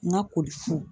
N ka koli fu